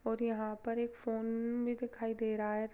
--और यहाँ पर एक फोन भी दिखाई दे रहा है।